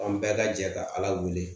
An bɛɛ ka jɛ ka ala wele